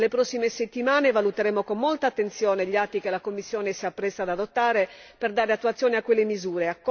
Nelle prossime settimane valuteremo con molta attenzione gli atti che la Commissione si appresta ad adottare per dare attuazione a quelle misure.